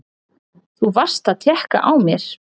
Þú varst að tékka á mér!